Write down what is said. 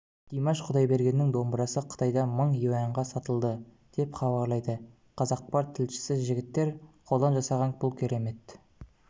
димаш құдайбергеннің домбырасы қытайда мың юаньға сатылды деп хабарлайды қазақпарт тілшісі жігіттер қолдан жасаған бұл керемет